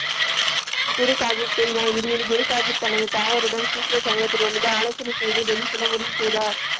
குரு சாகிப் கூறினார் குரு சாகிப் தனது தாயாருடன் சீக்கிய சங்கத்தினரிடம் இருந்து ஆலோசனையை செய்து டெல்லி செல்ல முடிவு செய்தார்.